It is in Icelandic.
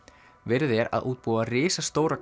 verið er að útbúa risastóra